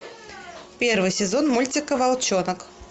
первый сезон мультика волчонок